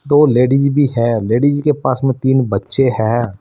दो लेडिज भी है लेडिज के पास में तीन बच्चे हैं।